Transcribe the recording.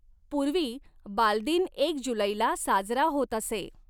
पूर्वी बालदिन एक जुलैला साजरा होत असे.